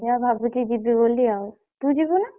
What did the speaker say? ସେୟା ଭାବୁଛି ଯିବି ବୋଲି ଆଉ ତୁ ଯିବୁନୁ?